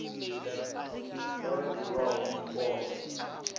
o no ḓi vhaho mupondwa